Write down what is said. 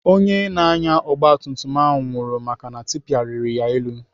Onye na-anya ogbatumtum ahụ nwụrụ maka na tipa riri ya elu.